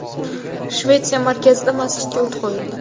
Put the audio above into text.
Shvetsiya markazida masjidga o‘t qo‘yildi.